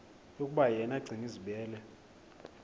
yokuba yena gcinizibele